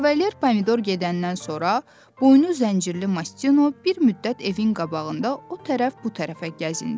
Kavalier Pomidor gedəndən sonra boynu zəncirli Mastino bir müddət evin qabağında o tərəf bu tərəfə gəzindi.